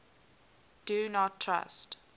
do not trust